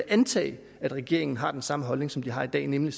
antage at regeringen har den samme holdning som de har i dag nemlig